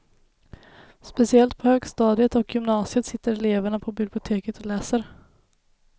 Speciellt på högstadiet och gymnasiet sitter eleverna på biblioteket och läser.